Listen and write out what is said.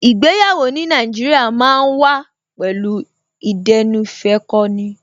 Ìgbéyàwó ní Nàìjíríà ma ń wà pẹ̀lú ìdẹ́nuìfẹ́kọni